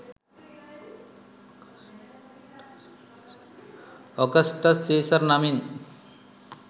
Augustus Caesar නමින්